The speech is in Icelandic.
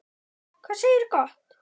Hvað segirðu gott?